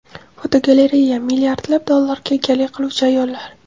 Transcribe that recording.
Fotogalereya: Milliardlab dollarlarga egalik qiluvchi ayollar.